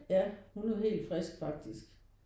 Ja hun er helt frisk faktisk